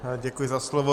Děkuji za slovo.